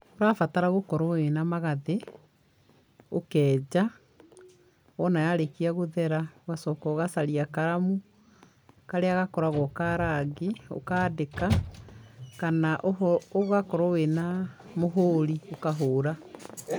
Ũrabatara gũkorwo wĩna magathĩ, ũkenja, wona yarĩkia gũthera ũgacoka ũgacaria karamu karĩa gakoragwo ka rangi ũkandĩka kana ũgakorwo wĩ na mũhũri ũkahũra.